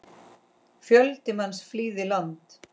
Fjöldi manns flýði land.